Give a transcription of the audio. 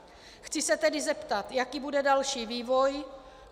Chci se tedy zeptat, jaký bude další vývoj.